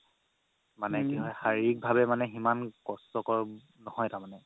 মানে কি হয় শাৰিক ভাবে ইমান কষ্টৰ কৰ নহয় তাৰমানে